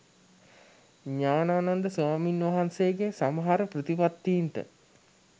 ඥානානන්ද ස්වාමින්වහන්සේගේ සමහර ප්‍රතිපත්තීන්ට